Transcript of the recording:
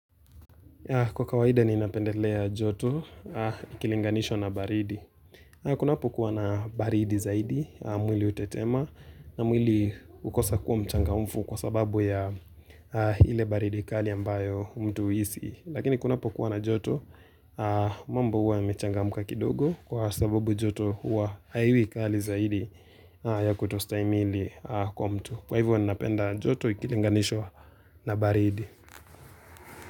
Kwa kawaida ninapendelea joto, ikilinganishwa na baridi. Kunapo kuwa na baridi zaidi, mwili hutetema, na mwili hukosa kuwa mchangamfu kwa sababu ya ile baridi kali ambayo mtu huhisi. Lakini kunapo kuwa na joto, mambo huwa yamechangamka kidogo kwa sababu joto huwa haiwi kali zaidi ya kutostahimili kwa mtu. Kwa hivyo napenda joto, ikilinganishwa na baridi.